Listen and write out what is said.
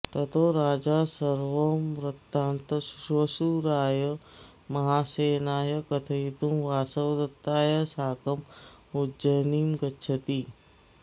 ततो राजा सर्वं वृत्तान्तं श्वशुराय महासेनाय कथयितुं वासवदत्तया साकम् उज्जयिनीं गच्छति